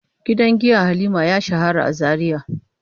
Gidan giya Halima ya shahara a Zaria.